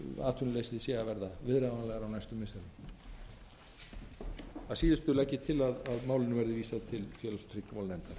missirum að síðustu legg ég til að málinu verði vísað til félags og tryggingamálanefndar